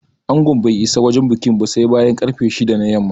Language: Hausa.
Angon bai isa wajen bikin ba sai bayan ƙarfe shida na yamma